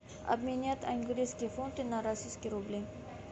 обменять английские фунты на российские рубли